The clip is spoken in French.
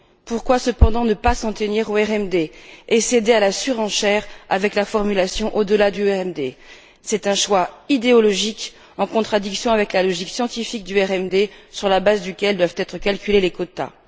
Pourquoi, cependant, ne pas s'en tenir au RMD, et céder à la surenchère avec la formulation au delà du RMD? C'est un choix idéologique, en contradiction avec la logique scientifique du RMD, sur la base duquel doivent être calculés les quotas.